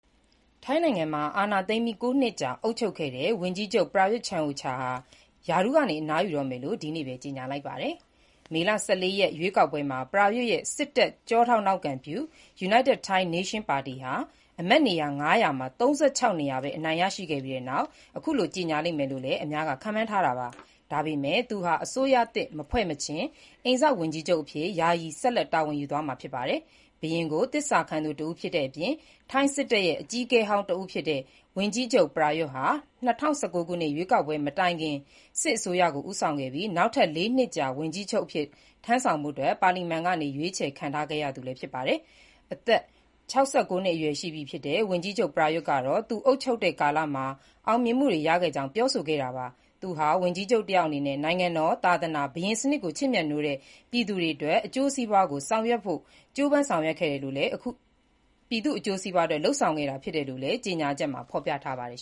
ထိုင်းနိုင်ငံမှာ အာဏာသိမ်းပြီး ၉ နှစ်ကြာ အုပ်ချုပ်ခဲ့တဲ့ ဝန်ကြီးချုပ် ပရာယွတ်ချန်အိုချာ ဟာ ရာထူးက အနားယူတော့မယ်လို့ ဒီနေ့ပဲ ကြေညာလိုက်ပါတယ်။ မေလ ၁၄ ရက် ရွေးကောက်ပွဲမှာ ပရာယွတ်ရဲ့ စစ်တပ်ကျောထောက်နောက်ခံပြု United Thai Nation ပါတီဟာ အမတ်နေရာ ၅၀၀ မှာ ၃၆ နေရာသာ အနိုင်ရရှိခဲ့ပြီးနောက် အခုလို ကြေညာလိမ့်မယ်လို့လည်း အများက ခန့်မှန်းထားတာပါ။ဒါပေမဲ့ သူဟာ အစိုးရသစ်မဖွဲ့မချင်း အိမ်စောင့်ဝန်ကြီးချုပ်အဖြစ် ယာယီ ဆက်လက် တာဝန်ယူသွားမှာ ဖြစ်ပါတယ်။ ဘုရင်ကို သစ္စာခံသူတဦးဖြစ်တဲ့ ထိုင်းစစ်တပ်ရဲ့အကြီးအကဲဟောင်းဖြစ်တဲ့ ဝန်ကြီးချုပ် ပရာယွတ်ဟာ ၂၀၁၉ ခုနှစ် ရွေးကောက်ပွဲမတိုင်မီအထိ စစ်အစိုးရကို ဦးဆောင်ခဲ့ပြီး၊ နောက်ထပ် ၄ နှစ်ကြာ ဝန်ကြီးချုပ်အဖြစ်ထမ်းဆောင်ဖို့ ပါလီမန်ကနေ ရွေးချယ်ခံခဲ့ရသူလည်းဖြစ်ပါတယ်။ အသက် ၆၉ နှစ်အရွယ်ရှိပြီဖြစ်တဲ့ ဝန်ကြီးချုပ် ပရာယွတ်ကတော့ သူအုပ်ချုပ်တဲ့ ကာလမှာ အောင်မြင်မှုတွေ ရခဲ့ကြောင်း ပြောဆိုခဲ့တာပါ။ သူဟာ ဝန်ကြီးချုပ်တယောက်အနေနဲ့ နိုင်ငံတော်၊ သာသနာ၊ ဘုရင်စနစ်ကို ချစ်မြတ်နိုးတဲ့ ပြည်သူတွေရဲ့ အကျိုးစီးပွားအတွက် ကြိုးပမ်းဆောင်ရွက်ခဲ့ကြောင်းနဲ့၊ ယခုရလဒ်ဟာ ပြည်သူ့အကျိုးစီးပွားအတွက် လုပ်ဆောင်တာဖြစ်တယ်လို့လည်း ကြေညာချက်မှာ ဖော်ပြထားပါတယ်